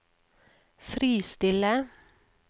fristille